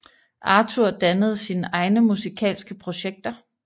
Arthur dannede sine egne musikalske projekter